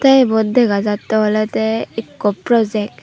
tey ebot dega jattey olodey ikko project.